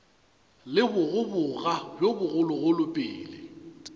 le bogoboga bjo bogologolo pele